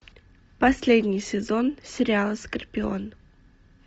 последний сезон сериала скорпион